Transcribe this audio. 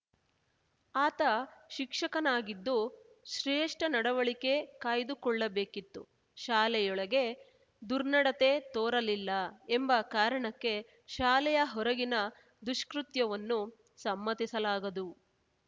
ಆತ ಶಿಕ್ಷಕನಾಗಿದ್ದು ಶ್ರೇಷ್ಠ ನಡವಳಿಕೆ ಕಾಯ್ದುಕೊಳ್ಳಬೇಕಿತ್ತು ಶಾಲೆಯೊಳಗೆ ದುರ್ನತಡೆ ತೋರಲಿಲ್ಲ ಎಂಬ ಕಾರಣಕ್ಕೆ ಶಾಲೆಯ ಹೊರಗಿನ ದುಷ್ಕೃತ್ಯವನ್ನು ಸಮ್ಮತಿಸಲಾಗದು